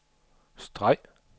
streg